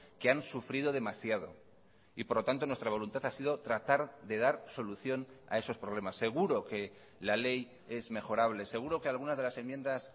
que han sufrido demasiado y por lo tanto nuestra voluntad ha sido tratar de dar solución a esos problemas seguro que la ley es mejorable seguro que algunas de las enmiendas